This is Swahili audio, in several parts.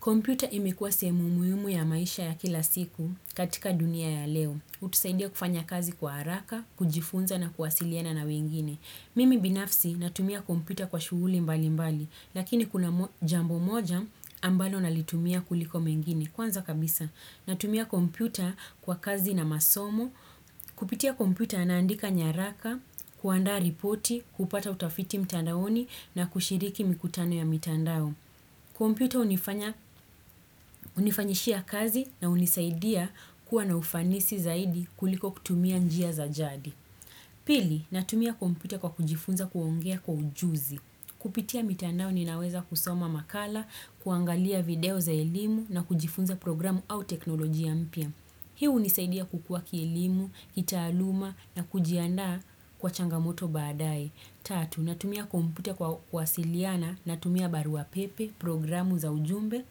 Kompyuta imekuwa sehemu muhimu ya maisha ya kila siku katika dunia ya leo. Utusaidia kufanya kazi kwa haraka, kujifunza na kuwasiliana na wengine. Mimi binafsi natumia kompyuta kwa shuguli mbali mbali, lakini kuna jambo moja ambalo nalitumia kuliko mengine. Kwanza kabisa, natumia kompyuta kwa kazi na masomo, kupitia kompyuta naandika nyaraka, kuandaa ripoti, kupata utafiti mtandaoni na kushiriki mikutano ya mitandao. Computer unifanyishia kazi na unisaidia kuwa na ufanisi zaidi kuliko kutumia njia za jadi. Pili, natumia computer kwa kujifunza kuongea kwa ujuzi. Kupitia mitandao ninaweza kusoma makala, kuangalia video za elimu na kujifunza programu au teknoloji ya mpya. Hii unisaidia kukua kielimu, kitaaluma na kujiandaa kwa changamoto baadae. Tatu, natumia kompyuta kwa kuwasiliana, natumia barua pepe, programu za ujumbe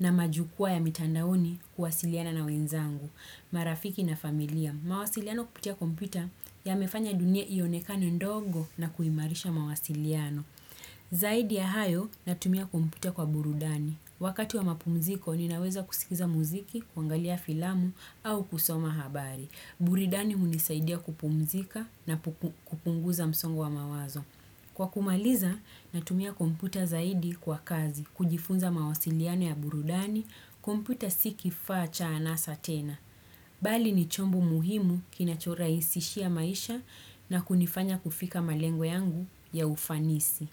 na majukwaa ya mitandaoni kuwasiliana na wenzangu. Marafiki na familia, mawasiliano kupitia kompyuta yamefanya dunia ionekane ndogo na kuimarisha mawasiliano. Zaidi ya hayo, natumia kompyuta kwa burudani. Wakati wa mapumziko, ninaweza kusikiza muziki, kuangalia filamu au kusoma habari. Buridani unisaidia kupumzika na kupunguza msongo wa mawazo. Kwa kumaliza, natumia kompyuta zaidi kwa kazi, kujifunza mawasiliano ya burudani, kompyuta si kifaa cha anasa tena. Bali ni chombo muhimu kinachora isishia maisha na kunifanya kufika malengo yangu ya ufanisi.